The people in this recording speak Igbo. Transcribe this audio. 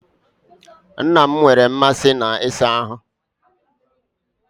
Nna m nwere mmasị na ịsa ahụ́.